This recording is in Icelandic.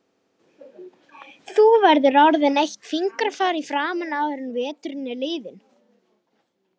Þú verður orðin eitt fingrafar í framan áður en veturinn er liðinn